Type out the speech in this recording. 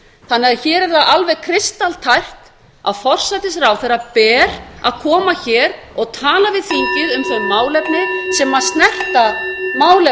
þannig að hér er það alveg kristaltært að forsætisráðherra ber að koma hér og tala við þingið um þau málefni sem snerta málefni